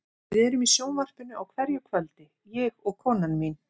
Við erum í sjónvarpinu á hverju kvöldi, ég og konan mín.